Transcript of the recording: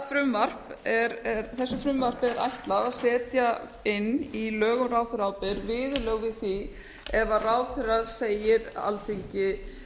þessu frumvarpi er ætlað að setja inn í lög um ráðherraábyrgð viðurlög við því ef ráðherra segir alþingi